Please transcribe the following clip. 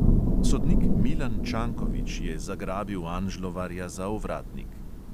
Sodnik milan čankovič je zagrabil anžlovarja za ovratnik.